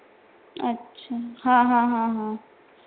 अच्छा हा हा हा हा.